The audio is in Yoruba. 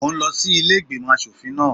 Mo ń lọ sí ilé ìgbìmò aṣòfin náà.